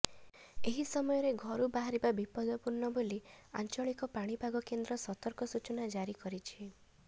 ଏହି ସମୟରେ ଘରୁ ବାହାରିବା ବିପଦପୂର୍ଣ୍ଣ ବୋଲି ଆଞ୍ଚଳିକ ପାଣିପାଗକେନ୍ଦ୍ର ସତର୍କ ସୂଚନା ଜାରି କରିଛି